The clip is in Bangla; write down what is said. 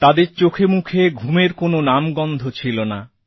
তাদের চোখেমুখে ঘুমের কোন নামগন্ধ ছিলনা